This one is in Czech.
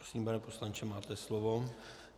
Prosím, pane poslanče, máte slovo.